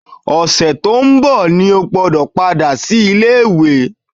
Ọ̀sẹ̀ tó ń bọ̀ ni o gbọ́dọ̀ padà sílé ìwé!